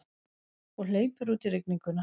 Og hleypur út í rigninguna.